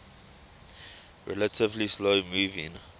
relatively slow moving